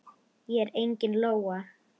Ég er engin lóa.